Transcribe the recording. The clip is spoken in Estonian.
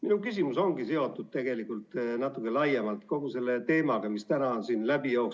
Minu küsimus ongi seotud tegelikult natuke laiemalt kogu selle teemaga, mis täna on siin läbi jooksnud.